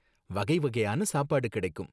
வகை வகையான சாப்பாடு கிடைக்கும்